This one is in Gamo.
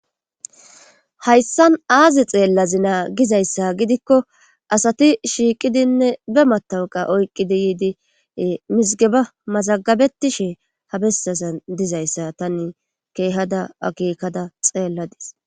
Hayssan aazi xeellazi naa gizayssa gidikko asati shiiqidinne be matawuqa oyqqidi yiidi mizigeba mazagabetishe ha bessasan dizayssa tanne keehada agekkada xeelladis